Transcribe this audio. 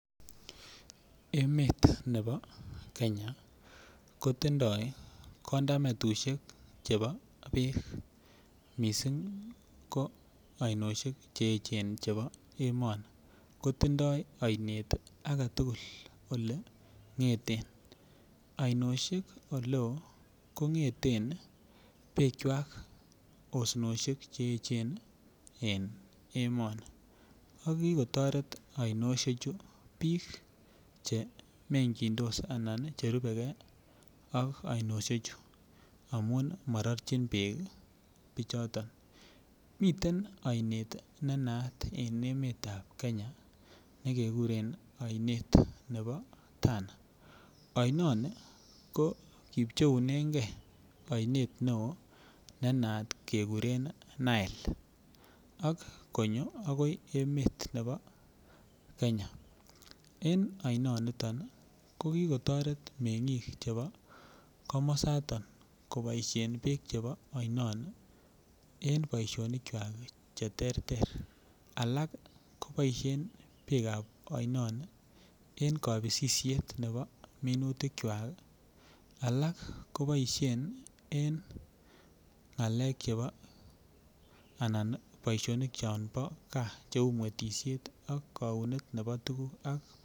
Emet nebo kenya ko tindoi kondametushek chebo beek missing ko oinoshek che echen chebo emoni kotindo oinet agetugul ole ngeten oinoshek ole oo kongeten bekywak osnoshek Che echen en emoni ko kikotoret oinoshek chu biik che mekyindos en oinoshek chu ana biik che rubegee ak oinoshek chu amun mororjin beek bichoton. Miten oinet ne naat en emetab kenya ne keguren oinet nebo Tana. Oinoni ko kipcheunenge oinet neo ne naat keguren nile ak konyo agoi emet nebo kenya en oinoniton ii ko kitoret mengiik chebo komosaton koboishen beek chebo oinoni en boisionikwak che terter. Alak koboishen beekab oinon en kopisisiet nebo minutikwak alak koboishen en ngalek chebo anan boisionik chombo gaa che uu mwetishek ak kounetab tuguk